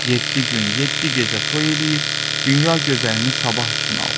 Yeddi gün, yeddi gecə toy eləyib, dünya gözəlini sabah üçün aldı.